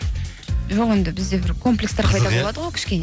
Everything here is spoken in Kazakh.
жоқ енді бізде бір комплекстер